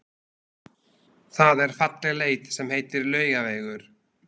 Það er falleg leið sem heitir Laugavegur.